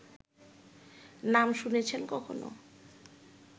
নাম শুনেছেন কখনো